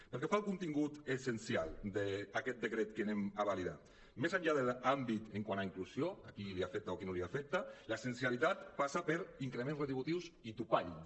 pel que fa al contingut essencial d’aquest decret que anem a validar més enllà de l’àmbit quant a inclusió a qui l’afecta o a qui no l’afecta l’essencialitat passa per increments retributius i topalls